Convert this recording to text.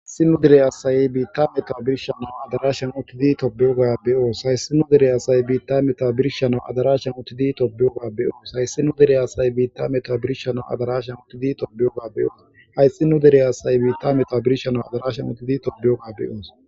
si nu dere asaye biitta meta birshana adaraashan uttidi tobeyoga beyoos hayssi nu dere asay biitta meta birshana adarashan uttidi tobeyogabeyoos hayssi nu dere asaye biitta meta birshana adarashan uttidi tobeyoga beyoos hayssi nu dere asaye biitta meta birshanau adarashan uttidi tobeyoga beyoos